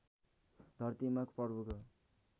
धरतीमा प्रभुको